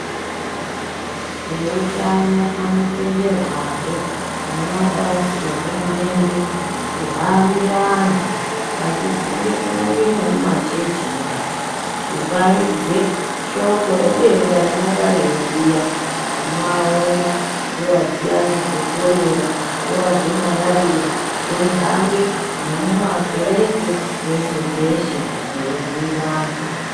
Eutano anotenderwahe nemapazi ehurumende kuhambira antu achipinde kunyange nemumachechimo, kuparidze shoko redenda rinonga reiuya. Tinowaona nguva dziyani dzeKorera, nguwa dzeMarariya, eihambe nemukakereke, peshe peshe eibhuyire anhu.